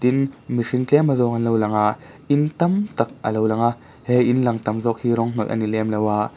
in mihring tlem a zawng an lo langa in tam tak a lo langa he in lang tam zawk hi rawng hnawih ani lem lo a.